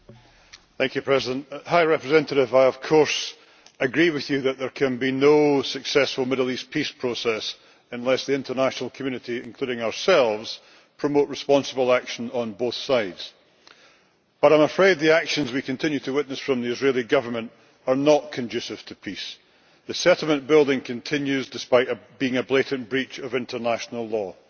Mr President, I of course agree with the High Representative that there can be no successful Middle East peace process unless the international community including ourselves promotes responsible action on both sides. However, I am afraid the actions we continue to witness from the Israeli Government are not conducive to peace. The settlement building continues, despite being a blatant breach of international law.